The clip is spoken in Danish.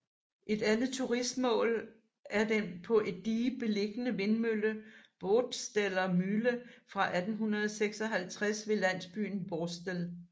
Et andet turistmål er den på et dige beliggende vindmølle Borsteler Mühle fra 1856 ved landsbyen Borstel